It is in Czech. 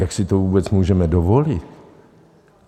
Jak si to vůbec můžeme dovolit?